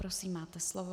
Prosím, máte slovo.